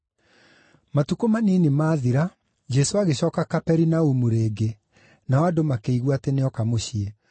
Matukũ manini maathira, Jesũ agĩcooka Kaperinaumu rĩngĩ, nao andũ makĩigua atĩ nĩoka mũciĩ.